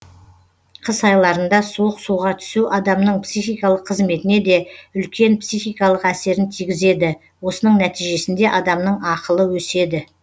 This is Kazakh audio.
қыс айларында суық суға түсу адамның психикалық қызметіне де үлкен психикалық әсерін тигізеді осының нәтижесінде адамның ақылы өседі